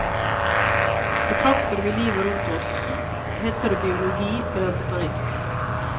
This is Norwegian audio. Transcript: Betrakter vi livet rundt oss, heter det biologi eller botanikk.